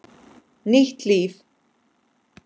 Nýtt líf.